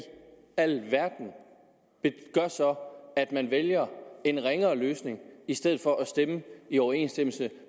alverden gør så at man vælger en ringere løsning i stedet for at stemme i overensstemmelse